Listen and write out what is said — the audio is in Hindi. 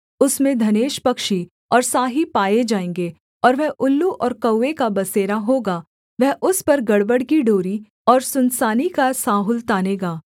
उसमें धनेश पक्षी और साही पाए जाएँगे और वह उल्लू और कौवे का बसेरा होगा वह उस पर गड़बड़ की डोरी और सुनसानी का साहुल तानेगा